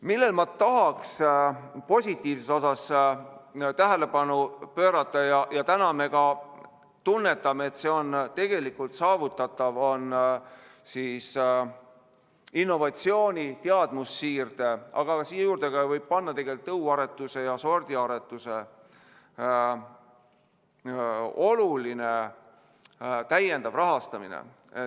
Millele ma tahaks positiivses osas tähelepanu pöörata – ja täna me tunnetame, et see on tegelikult saavutatav – on innovatsiooni, teadmussiirde, aga siia juurde võib panna ka tõuaretuse ja sordiaretuse, oluline täiendav rahastamine.